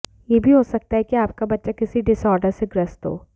यह भी हो सकता है कि आपका बच्चा किसी डिसआर्डर से ग्रस्त हो